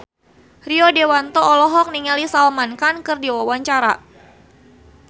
Rio Dewanto olohok ningali Salman Khan keur diwawancara